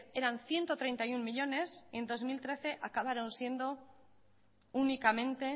eran ciento treinta y uno millónes y en dos mil trece acabaron siendo únicamente